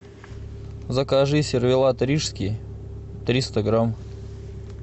закажи сервелат рижский триста грамм